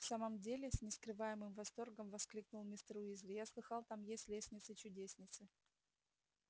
в самом деле с нескрываемым восторгом воскликнул мистер уизли я слыхал там есть лестницы-чудесницы